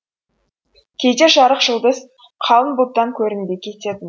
кейде жарық жұлдыз қалың бұлттан көрінбей кететін